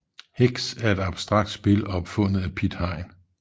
Hex er et abstrakt spil opfundet af Piet Hein